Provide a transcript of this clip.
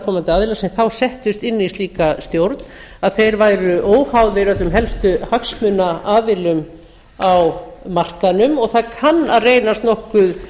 komandi aðilar sem þá settust inn í slíka stjórn að þeir væru óháðir öllum helstu hagsmunaaðilum á markaðnum og það kann að reynast nokkuð